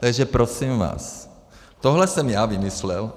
Takže prosím vás, tohle jsem já vymyslel.